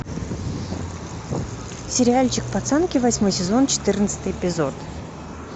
сериальчик пацанки восьмой сезон четырнадцатый эпизод